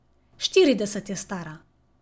Štirideset je stara.